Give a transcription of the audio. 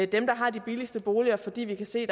dem der har de billigste boliger fordi vi kan se